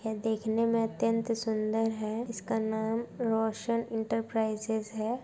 यह देखने में अतियंत सुन्दर है इसका नाम रोशन इंटरप्राइजेज है।